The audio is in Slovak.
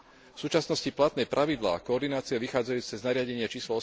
V súčasnosti platné pravidlá koordinácie vychádzajúce z nariadenia č.